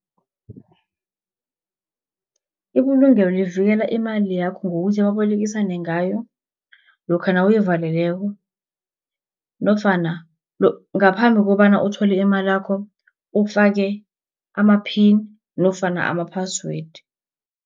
Ibulungelo livikela imali yakho ngokuthi babolekisane ngayo, lokha nawuyivaleleko, nofana ngaphambi kobana uthole imalakho, ufake ama-pin, nofana ama-password.